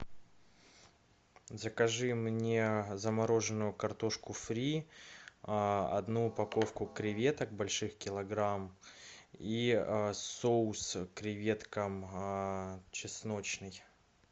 закажи мне замороженную картошку фри одну упаковку креветок больших килограмм и соус к креветкам чесночный